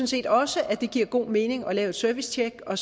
set også at det giver god mening at lave et servicetjek og